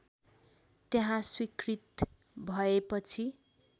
त्यहाँ स्वीकृत भएपछि